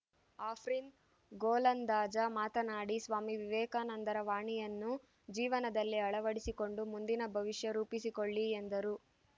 ಆಪ್ರೀನ್ ಗೋಲಂದಾಜ ಮಾತನಾಡಿ ಸ್ವಾಮಿ ವಿವೇಕಾನಂದರ ವಾಣಿಯನ್ನು ಜೀವನದಲ್ಲಿ ಅಳವಡಿಸಿಕೊಂಡು ಮುಂದಿನ ಭವಿಷ್ಯ ರೂಪಿಸಿಕೊಳ್ಳಿ ಎಂದರು